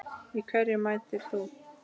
Í hverju mætir þú?